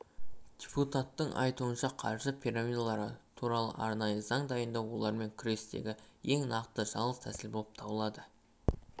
депутаттың айтуынша қаржы пирамидалары туралы арнайы заң дайындау олармен күрестегі ең нақты жалғыз тәсіл болып табылады